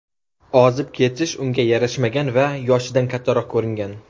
Ozib ketish unga yarashmagan va yoshidan kattaroq ko‘ringan.